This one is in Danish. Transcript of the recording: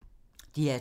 DR2